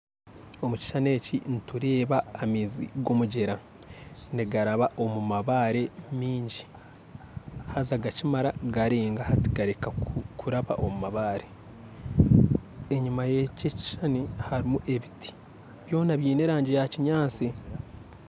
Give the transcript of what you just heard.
Omukishushani eki nitureeba amaizi gomugyera nigaraba omumabaare maingi haza gakyimara garenga hati gareka kuraba omu mabaare enyuma yekyi ekishushani harumu ebiti byoona byine erangi ya kinyantsi.